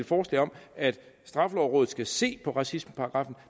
forslag om at straffelovrådet skal se på racismeparagraffen